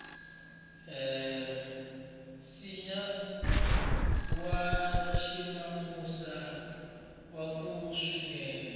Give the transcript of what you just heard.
nsinya wa ximawusa wu kula swinene